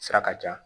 Sira ka ca